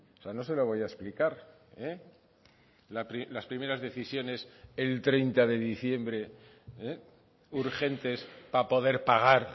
sea no se lo voy a explicar las primeras decisiones el treinta de diciembre urgentes para poder pagar